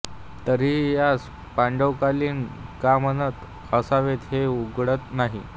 तरीही यास पांडवकालीन का म्हणत असावेत हे उलगडत नाही